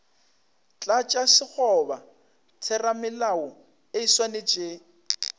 tlatša sekgoba theramelao e swanetše